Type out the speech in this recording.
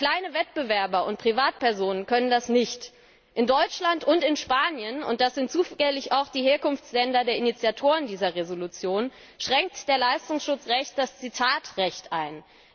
Aber kleine Wettbewerber und Privatpersonen können das nicht. In Deutschland und in Spanien und das sind zufällig auch die Herkunftsländer der Initiatoren dieser Entschließung schränkt das Leistungsschutzrecht das Zitatrecht